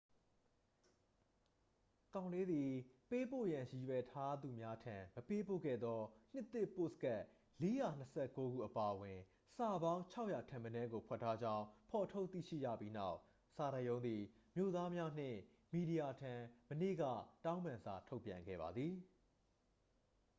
ကောင်လေးသည် ပေးပို့ရန်ရည်ရွယ်ထားသူများထံ မပေးပို့ခဲ့သော နှစ်သစ်ပို့စကတ် 429 ခုအပါအဝင် စာပေါင်း 600 ထက်မနည်းကို ဖွက်ထားကြောင်း ဖော်ထုတ်သိရှိရပြီးနောက် စာတိုက်ရုံးသည် မြို့သားများနှင့် မီဒီယာထံ မနေ့က တောင်းပန်စာထုတ်ပြန်ခဲ့ပါသည်